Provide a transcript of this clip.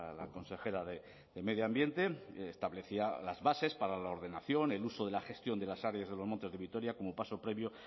la consejera de medio ambiente establecía las bases para la ordenación el uso y la gestión de las áreas de los montes de vitoria como paso previo